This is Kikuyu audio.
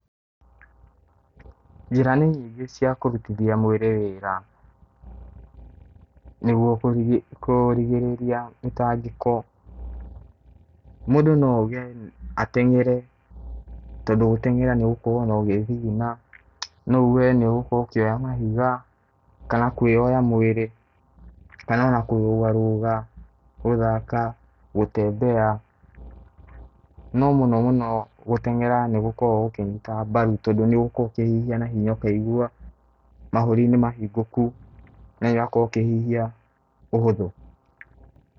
Njĩra nĩ nyingĩ cia kũrutithia mwĩrĩ wĩra nĩguo kũrigĩrĩria mĩtangĩko. Mũndũ no auge ateng'ere tondũ gũteng'era nĩũgũkorwo ũgĩthithina. No uge nĩũgũkorwo ũkĩoya mahiga, kana kwĩoya mwĩrĩ, kana ona kũrũga rũga, gũthaka, gũtembea. No mũno mũno gũteng'era nĩgũkoragwo gũkĩnyita mbaru tondũ nĩũgukorwo ũkĩhihia na hinya ũkaigua mahũri nĩmahingũku na ũgakorwo ũkĩhihia ũhũthũ.